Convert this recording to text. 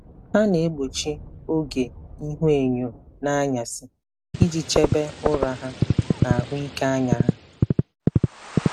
Ha na-egbochi oge ihuenyo n'anyasị iji chebe ụra ha na ahụike anya ha.